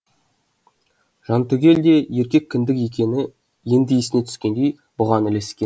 жантүгел де еркек кіндік екені енді есіне түскендей бұған ілескен